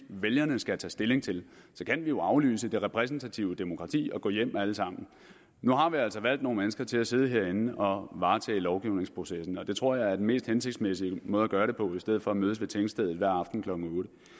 vælgerne skal tage stilling til så kan vi jo aflyse det repræsentative demokrati og gå hjem alle sammen nu har vi altså valgt nogle mennesker til at sidde herinde og varetage lovgivningsprocessen og det tror jeg er den mest hensigtsmæssige måde at gøre det på i stedet for at mødes ved tingstedet hver aften klokken